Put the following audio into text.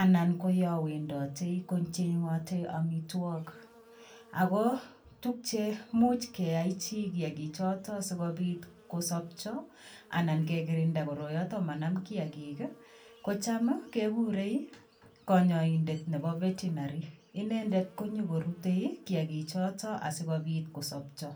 anan koyo wendoti kocheng'oti amitwogik. Ako tukche much keyachi kiagikchotok sikobit kosopcho anan kekirinda koroyotok manam kiagik, kocham kegurei konyoindet nebo vertinary. Inendet konyokorutei kiagichotok asikobit kosopcho.